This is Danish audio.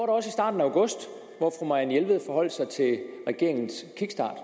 også i starten af august hvor fru marianne jelved forholdt sig til regeringens kickstart